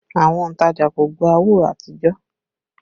Àwọn òntajà kò gbà owó àtijọ́